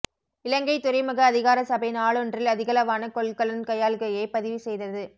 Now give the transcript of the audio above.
இலங்கை துறைமுக அதிகார சபை நாளொன்றில் அதிகளவான கொள்கலன் கையாள்கையை பதிவு செய்தது